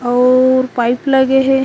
और पाइप लगे हे।